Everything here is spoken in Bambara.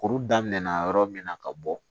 Kuru daminɛ na yɔrɔ min na ka bɔ